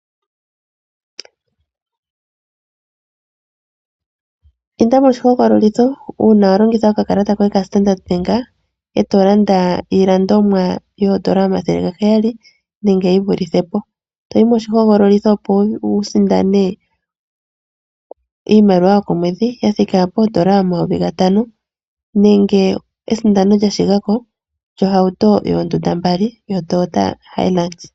Inda moshihogololitho uuna wa longitha okakalata koye kaStandard Bank e to landa iilandomwa yooN$ 700 nenge yi vulithe po, to yi moshihogololitho, opo wu sindane iimaliwa yokomwedhi ya thika pooN$ 5000 nenge esindano lya shigako lyohauto yoondunda mbali yoToyota Hilux.